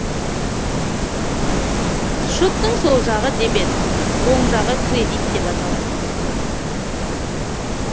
шоттың сол жағы дебет оң жағы кредит деп аталады